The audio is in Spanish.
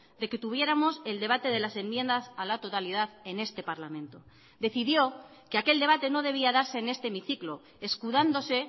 de que tuviéramos el debate de las enmiendas a la totalidad en este parlamento decidió que aquel debate no debía darse en este hemiciclo escudándose